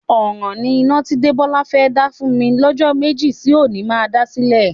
Ọ̀ràn ni iná tí Débọ́lá fẹ́ dá fún mi lọ́jọ́ méjì sí òní má dá sílẹ̀.